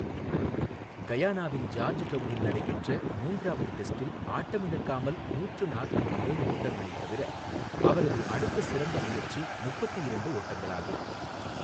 கயானாவின் ஜார்ஜ்டவுனில் நடைபெற்ற மூன்றாவது டெஸ்டில் ஆட்டமிழக்காமல் நூற்று நாற்பத்து ஏழு ஓட்டங்களைத் தவிர, அவரது அடுத்த சிறந்த முயற்சி முப்பத்து இரண்டு ஓட்டங்களாகும்.